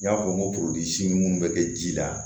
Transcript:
N y'a fɔ n ko minnu bɛ kɛ ji la